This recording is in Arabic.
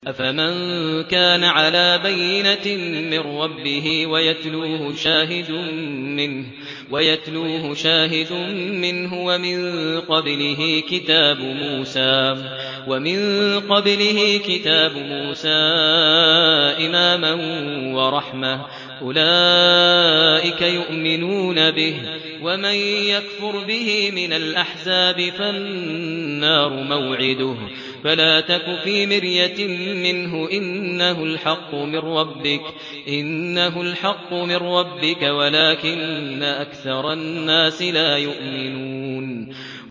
أَفَمَن كَانَ عَلَىٰ بَيِّنَةٍ مِّن رَّبِّهِ وَيَتْلُوهُ شَاهِدٌ مِّنْهُ وَمِن قَبْلِهِ كِتَابُ مُوسَىٰ إِمَامًا وَرَحْمَةً ۚ أُولَٰئِكَ يُؤْمِنُونَ بِهِ ۚ وَمَن يَكْفُرْ بِهِ مِنَ الْأَحْزَابِ فَالنَّارُ مَوْعِدُهُ ۚ فَلَا تَكُ فِي مِرْيَةٍ مِّنْهُ ۚ إِنَّهُ الْحَقُّ مِن رَّبِّكَ وَلَٰكِنَّ أَكْثَرَ النَّاسِ لَا يُؤْمِنُونَ